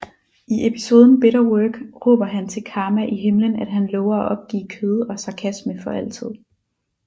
I episoden Bitter Work råber han til Karma i himlen at han lover at opgive kød og sarkasme for altid